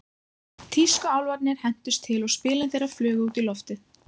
Tískuálfarnir hentust til og spilin þeirra flugu út í loftið.